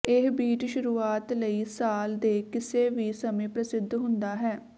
ਇਹ ਬੀਚ ਸ਼ੁਰੂਆਤ ਲਈ ਸਾਲ ਦੇ ਕਿਸੇ ਵੀ ਸਮੇਂ ਪ੍ਰਸਿੱਧ ਹੁੰਦਾ ਹੈ